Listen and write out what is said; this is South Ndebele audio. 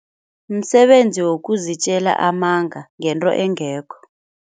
Msebenzi wokuzitjela amanga ngento engekho.